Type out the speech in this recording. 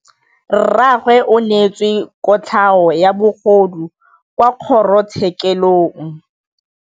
Rragwe o neetswe kotlhaô ya bogodu kwa kgoro tshêkêlông.